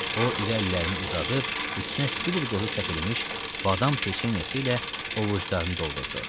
O, iri əllərini uzadıb üstünə sidir qozu səpilmiş badam peçenyası ilə ovucdarını doldurdu.